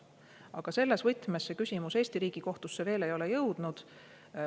Aga selles võtmes see küsimus Eesti riigi kohtusse veel ei ole jõudnud.